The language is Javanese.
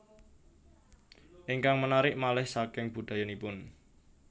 Ingkang menarik malih saking budayanipun